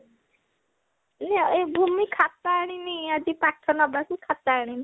ଏଇ ଭୂମି ଖାତା ଆଣିନି ଆଜି ପାଠ ନବାକୁ ଖାତା ଆଣିନି